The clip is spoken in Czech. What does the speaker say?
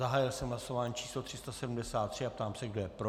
Zahájil jsem hlasování číslo 373 a ptám se, kdo je pro.